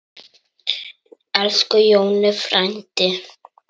Elsku Jonni frændi.